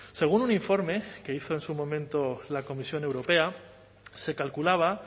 según un informe que hizo en su momento la comisión europea se calculaba